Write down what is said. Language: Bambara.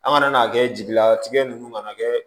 An kana n'a kɛ jelila tigɛ nunnu kana kɛ